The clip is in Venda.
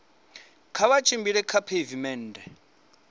kha vha tshimbile kha pheivimennde